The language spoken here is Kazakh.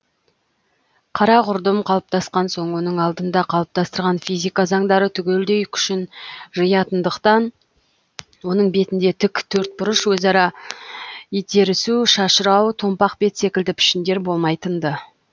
қара құрдым қалыптасқан соң оның алдында қалыптастырған физика заңдары түгелдей күшін жиятындықтан оның бетінде тік төртбұрыш өзара итерісу шашырау томпақ бет секілді пішіндер болмайтынды